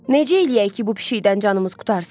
Necə eləyək ki, bu pişiyidən canımız qurtarsın?